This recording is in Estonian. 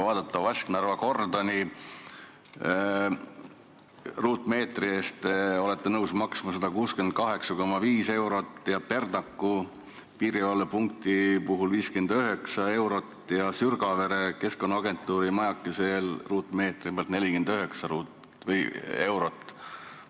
Vasknarva kordoni ruutmeetri eest te olete nõus maksma 68,5 eurot, Perdaku piirivalvepunkti puhul 59 eurot ja Keskkonnaagentuuri Sürgavere majakese ruutmeetri pealt 49 eurot.